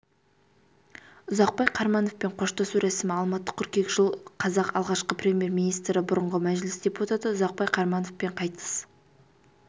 ұзақбай қармановпен қоштасу рәсімі алматы қыркүйек жыл қазақ алғашқы премьер-министрі бұрынғы мәжіліс депутаты ұзақбай қармановпен қайтыс